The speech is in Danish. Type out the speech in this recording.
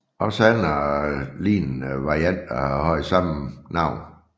Også andre lignende varianter har haft samme navn